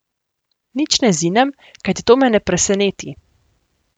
Nič ne zinem, kajti to me ne preseneti.